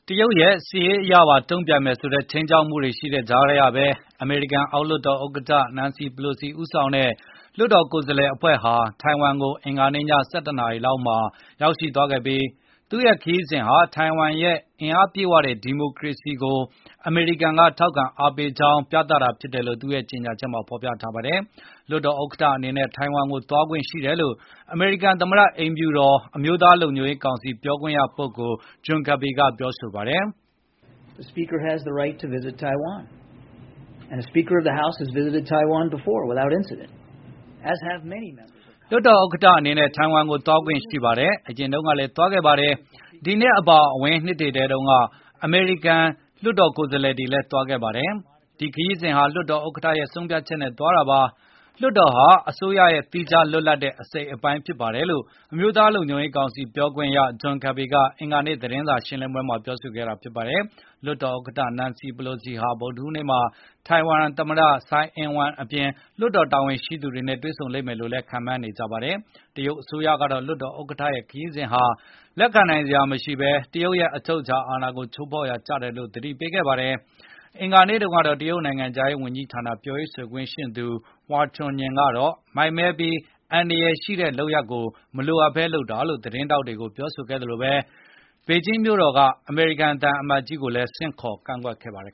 တရုတ်ရဲ့ စစ်ရေးအရပါ တုံပြန်မယ်ဆိုတဲ့ ခြိမ်းခြောက်မှုတွေရှိနေတဲ့ကြားကဘဲ အမေရိကန် အောက်လွှတ်တော်ဥက္ကဌ Nancy Pelosi ဦးဆောင်တဲ့ လွှတ်တော်ကိုယ်စားလှယ်အဖွဲ့ဟာ ထိုင်ဝမ်ကို အင်္ဂါနေ့ည ၁၁ နာရီလောက်မှာ ရောက်ရှိသွားခဲ့ပြီး သူရဲ့ခရီးစဉ်ဟာ ထိုင်ဝမ်ရဲ့ အားအင်ပြည့်ဝတဲ့ ဒီမိုကရေစီကို အမေရိကန်က ထောက်ခံအားပေးကြောင်း ပြသတာဖြစ်တယ်လို့ သူ့ရဲ့ ကြေညာချက်မှာဖေါ်ပြပါတယ်။ လွှတ်တော်ဥက္ကဌ အနေနဲ့ ထိုင်ဝမ်ကို သွားခွင့်ရှိတယ်လို့ အမေရိကန် သမ္မတ အိမ်ဖြူတော် အမျိုးသားလုံခြုံရေ းကောင်စီပြောခွင့်ရပုဂ္ဂိုလ် John Kirby ကပြောဆိုပါတယ်။ “လွှတ်တော်ဥက္ကဌ အနေနဲ့ ထိုင်ဝမ်ကိုသွားခွင့်ရှိပါတယ်။ အရင်တုန်းကလည်းသွားခဲ့ပါတယ်။ ဒီနှစ်အပါအဝင် အရင်နှစ်တွေကလည်း အမေရိကန်လွှတ်တော်ကိုယ်စားလှယ်တွေသွားခဲ့ပါတယ်။ ဒီခရီးစဉ်ဟာလွှတ်တော်ဥက္ကဌရဲ့ဆုံးဖြတ်ချက်နဲ့ သွားတာပါ။ လွှတ်တော်ဟာ အစိုးရရဲ့သီးခြားလွတ်လပ်တဲ့အစိပ်အပိုင်းဖြစ်ပါတယ်လို့” အမျိုးသား လုံခြုံရေး ကောင်စီပြောခွင့်ရ John Kirby ကအင်္ဂါနေ့ သတင်းစာရှင်းလင်းပွဲမှာ ပြောဆိုခဲ့တာပါ။ လွှတ်တော်ဥက္ကဌ Nacny Pelosi ဟာဗုဒ္ဓဟူးနေ့မှာ ထိုင်ဝမ်သမ္မတ Tsai Ing-wen အပြင် လွှတ်တော်တာဝန်ရှိသူတွေနဲ့ တွေ့ဆုံလိမ့်မယ်လို့လည်း ခန့်မှန်းနေကြပါတယ်။ တရုတ်အစိုးရကတော့ လွှတ်တော်ဥက္ကဌရဲ့ ခရီးစဉ်ဟာ လက်ခံနိုင်စရာမရှိဘဲ၊ တရုတ်ရဲ့ အချုပ်အခြာ အာဏာကို ချိုးဖေါက်ရာကျတယ်လို့ သတိပေးခဲ့ပါတယ်။ အင်္ဂါနေ့တုံးကတော့ တရုတ်နိုင်ငံခြားရေး ဝန်ကြီးဌာနပြောရေး ဆိုခွင့်ရှိသူ Hua Chunying ကတော့ မိုက်မဲပြီး အန္တရယ်ရှိတဲ့ လုပ်ရပ်ကိုမလိုအပ်ဘဲ လုပ်တာလို့ သတင်းထောက်တွေကို ပြောဆိုခဲ့သလို၊ ပေကျင်းမြို့တော်က အမေရိကန် သံအမတ်ကြီးကိုလည်း ဆင့်ခေါ် ကန့်ကွက်ခဲ့ပါတယ်